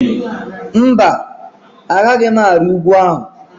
Mba, Agaghị m ari ugwu ahụ.